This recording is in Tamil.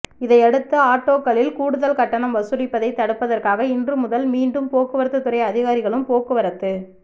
இதையடுத்து ஆட்டோக் களில் கூடுதல் கட்டணம் வசூலிப்பதை தடுப்பதற் காக இன்றுமுதல் மீண்டும் போக்குவரத்து துறை அதிகாரிகளும் போக்குவரத்து